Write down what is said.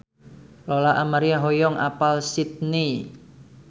Lola Amaria hoyong apal Sydney